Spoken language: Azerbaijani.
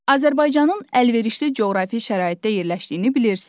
Azərbaycanın əlverişli coğrafi şəraitdə yerləşdiyini bilirsiz.